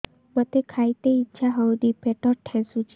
ମୋତେ ଖାଇତେ ଇଚ୍ଛା ହଉନି ପେଟ ଠେସୁଛି